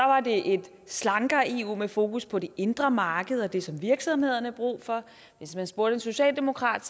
var det et slankere eu med fokus på det indre marked og det som virksomhederne har brug for hvis man spurgte en socialdemokrat